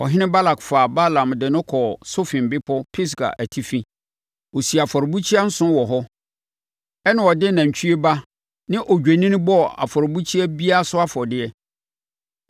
Ɔhene Balak faa Balaam de no kɔɔ Sofim bepɔ Pisga atifi. Ɔsii afɔrebukyia nson wɔ hɔ. Ɛnna ɔde nantwie ba ne odwennini bɔɔ afɔrebukyia biara so afɔdeɛ.